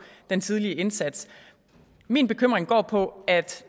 den tidlige indsats min bekymring går på at